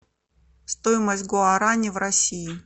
стоимость гуарани в россии